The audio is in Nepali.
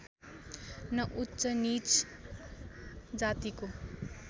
न उच्चनीच जातिको